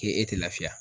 K'e e tɛ lafiya